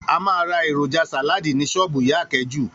A máa ra èròjà sàláàdì ní s̩ó̩ò̩bù ìyá Àké̩jù